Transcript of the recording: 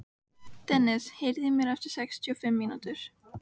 Dennis, heyrðu í mér eftir sextíu og fimm mínútur.